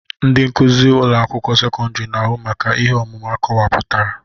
Ndị nkuzi ụlọ akwụkwọ sekọndrị na-ahụ maka ihe ọmụmụ akọwapụtara